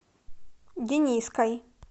дениской